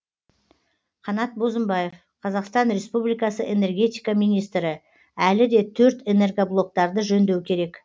қанат бозымбаев қр энергетика министрі әлі де төрт энергоблоктарды жөндеу керек